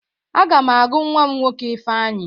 A ga m agụ nnwa m nwoke Ifeanyi